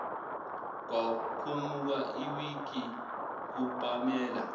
kwakhumuka iwigi kupamela